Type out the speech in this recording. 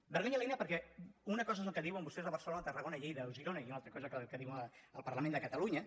vergonya aliena perquè una cosa és el que diuen vostès a barcelona tarragona lleida o girona i una altra cosa el que diuen al parlament de catalunya